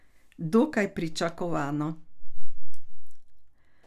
Dokaj pričakovano.